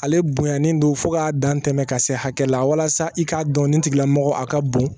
Ale bonyalen don fo k'a dan tɛmɛ ka se hakɛ la walasa i k'a dɔn nin tigilamɔgɔ a ka bon